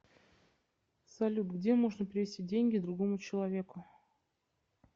салют где можно перевести деньги другому человеку